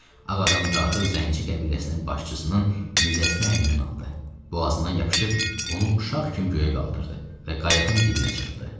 Ağadam dartıb zənci qəbiləsinin başçısının nizəsini əlindən aldı, boğazından yapışıb onu uşaq kimi göyə qaldırdı və qayığın dibinə çırpdı.